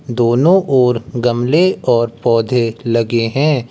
दोनों ओर गमले और पौधे लगे हैं।